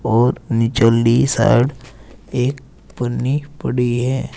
और निचली साइड एक पन्नी पड़ी है।